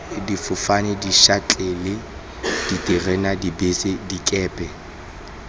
difofane dišatlelle diterena dibese dikepe